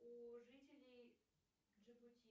у жителей